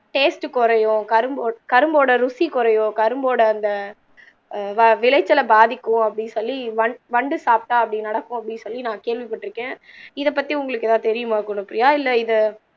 taste குறையும் கரும் கரும்போட ருசி குறையும் கரும்போட அந்த ஆஹ் விளைச்சல பாதிக்கும் அப்படின்னு சொல்லி வண் வண்டு சாப்பிட்டா அப்படி நடக்கும் அப்படி சொல்லி நான் கேள்வி பட்டிருக்கேன் இத பத்தி உங்களுக்கு எதாவது தெரியுமா குணப்ரியா இல்ல